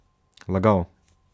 Lagal.